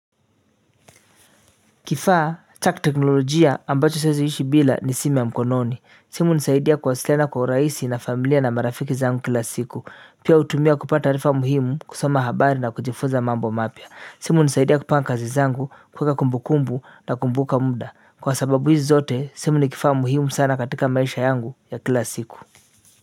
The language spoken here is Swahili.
Kifaa, cha kiteknolojia ambacho siwezi ishi bila ni simu ya mkononi. Simu hunisaidia kuwasiliana kwa urahisi na familia na marafiki zangu kila siku. Pia hutumia kupata taarifa muhimu, kusoma habari na kujifuza mambo mapya. Simu hunisaidia kupanga kazi zangu, kuweka kumbukumbu na kukumbuka muda. Kwa sababu hizi zote, simu ni kifaa muhimu sana katika maisha yangu ya kila siku.